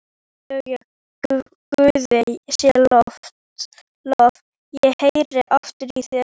BAUJA: Guði sé lof, ég heyri aftur í þér!